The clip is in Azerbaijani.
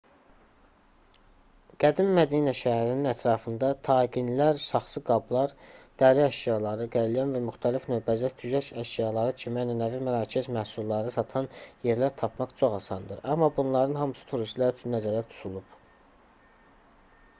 qədim mədinə şəhərinin ətrafında taqinlər saxsı qablar dəri əşyaları qəlyan və müxtəlif növ bəzək-düzək əşyaları kimi ənənəvi mərakəş məhsulları satan yerlər tapmaq çox asandır amma bunların hamısı turistlər üçün nəzərdə tutulub